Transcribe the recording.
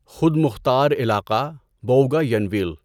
خود مختار علاقہ بؤگاینویل